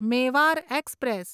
Mewar express